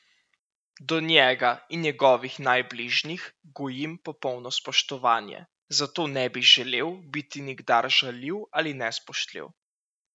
Do njega in njegovih najbližjih gojim popolno spoštovanje, zato ne bi želel biti nikdar žaljiv ali nespoštljiv.